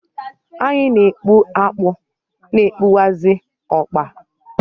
Anyi n'ekpu akpụ na ekpukwazị ọkpa.